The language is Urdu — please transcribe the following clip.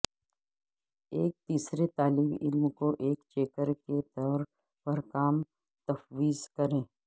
ایک تیسرے طالب علم کو ایک چیکر کے طور پر کام تفویض کریں